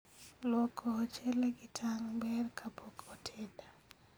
luoko ochele kitang' ber kapok oted